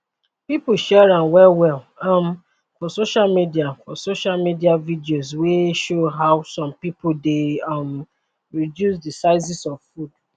pipo share am wellwell um for social for social media videos wey show how some pipo dey um reduce di sizes of food